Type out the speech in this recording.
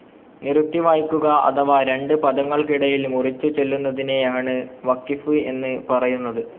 നിറുത്തി വായിക്കുക അഥവാ രണ്ട് പദങ്ങൾക്കിടയിൽ മുറിച്ചു ചൊല്ലുന്നതിനെയാണ് വഖിഫ് എന്നു പറയുന്നത്.